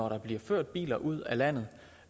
der bliver ført biler ud af landet